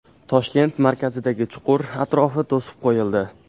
Toshkent markazidagi chuqur atrofi to‘sib qo‘yildi.